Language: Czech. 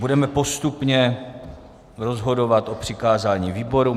Budeme postupně rozhodovat o přikázání výborům.